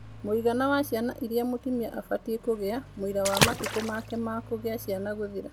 Mũigana wa ciana iria mũtumia abatiĩ kũgia mũira wa matukũ make ma kũgĩa ciana gũthira